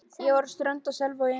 Ég er frá Strönd í Selvogi.